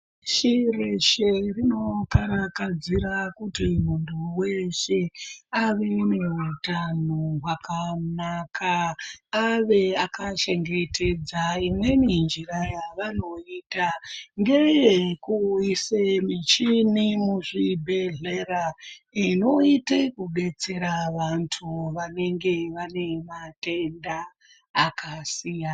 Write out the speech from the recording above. Chiro chendino karakadzira kuti muntu weshe ave neutano hwakanaka ave akachengetedza imweni njira yavanoita ngeyekuisa muchini muzvi bhedhlera inoite kudetsera vantu vanenge vane madenda akasiyana .